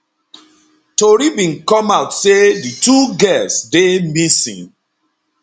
tori bin come out say di two girls dey missing